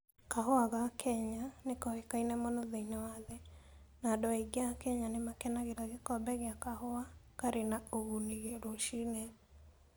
Kahua ka Kenya nĩ koĩkaine mũno thĩinĩ wa thĩ, na andũ aingĩ a Kenya nĩ makenagĩra gĩkombe kĩa kahua karĩ na ũguni rũcinĩ.